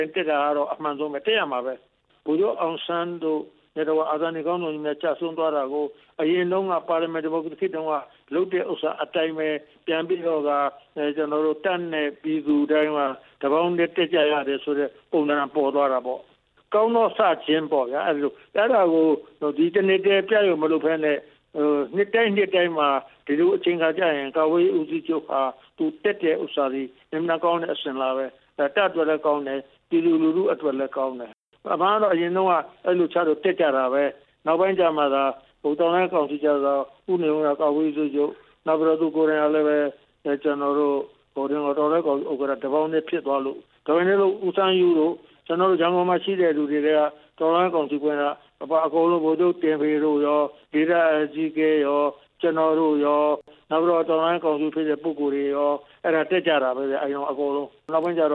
င်တက်တာကတော့ အမှန်ဆုံးပဲ တက်ရမှာပဲ၊ ဗိုလ်ချုပ်အောင်ဆန်း နဲ့တကွ အာဇာနည်ခေါင်းဆောင်ကြီးများ ကျဆုံးသွားတာကို အရင်တုန်းက ပါလီမန်ဒီမိုကရေ စီခေတ်တုန်းက လုပ်တဲ့ဥစ္စာအတိုင်းပဲ ပြန်ပြီးတော့ကာ ကျနော်တို့ တပ်နဲ့ပြည်သူ တပေါင်းတည်း တက်ကြရတယ်ဆိုတဲ့ ပုံသဏ္ဍန်ပေါ်သွားတာပေါ့၊ ကောင်းသောစခြင်းပေါ့ဗျာ အဲ့သလို၊ အဲ့ဒါကို ဒီတစ်နှစ်ထဲ တက်ဖို့မလုပ်ဘဲနဲ့ နှစ်တိုင်းနှစ်တိုင်းမှာ ဒီလိုအချိန်အခါကျရင် ကာကွယ်ရေးဦးစီးချုပ်တက်တဲ့ ဟာက အင်မတန်ကောင်းတဲ့ အစဉ်အလာပဲ၊ တပ်အတွက်လည်း ကောင်းတယ်၊ ပြည်သူလူထုအတွက် လည်း ကောင်းတယ်၊ အရင်တုန်းက အဲ့လိုတက်ကြတာပဲ၊ နောက်ပိုင်းကျမှသာ တော်လှန်ရေးကောင်စီ ကျတော့ ဦးနေဝင်းက ကာကွယ်ရေးဦးစီးချုပ်၊ သူကိုယ်တိုင်ကလည်းပဲ ကျနော်တို့ တော်လှန်ရေးကောင်စီ ဥက္ကဌ တပေါင်းတည်းဖြစ်သွားလို့ ဒါပေမဲ့လို့ ဦးစန်းယုတို့ ရန်ကုန်မှာရှိတဲ့လူတွေထဲက တော် လှန်ရေးကောင်စီထဲက ဗိုလ်ချုပ်တင်ဖေတို့ရော၊ ကျနော်တို့ရော၊ နောက်ပြီးတော့ တော်လှန်ရေးကောင် စီဖြစ်တဲ့ ပုဂ္ဂိုလ်တွေရော၊ အဲ့ဒါ တက်ကြတာပဲဗျ၊ အဲ့ဒီတုန်းက အကုန်လုံး နောက်ပိုင်းကျတ